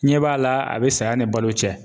N ɲɛ b'a la a be saya ni balo cɛ